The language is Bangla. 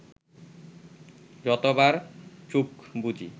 যতবার চোখ বুজি